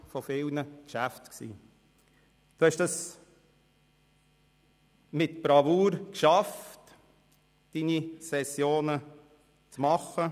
Sie haben es mit Bravour geschafft, Ihre Sessionen zu meistern.